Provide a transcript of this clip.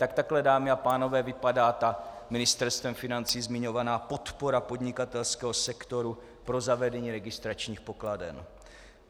Tak takhle, dámy a pánové, vypadá ta Ministerstvem financí zmiňovaná podpora podnikatelského sektoru pro zavedení registračních pokladen.